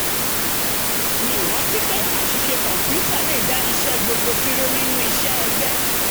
mi ò rántí pé àṣìṣe kọ̀ǹpútà le dá iṣẹ́ gbogbo dúró nínú iṣẹ́ egbe